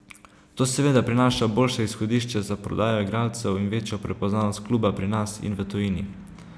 To seveda prinaša boljše izhodišče za prodajo igralcev in večjo prepoznavnost kluba pri nas in v tujini.